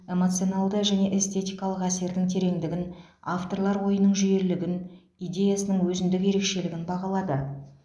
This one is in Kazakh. эмоционалды және эстетикалық әсердің тереңдігін авторлар ойының жүйелілігін идеясының өзіндік ерекшелігін бағалады